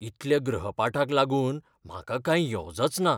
इतल्या गृहपाठाक लागून म्हाका कांय येवजच ना.